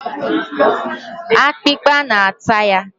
akpịkpa na-ata ya.